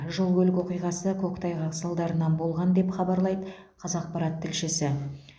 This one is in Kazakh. жол көлік оқиғасы көктайғақ салдарынан болған деп хабарлайды қазақпарат тілшісі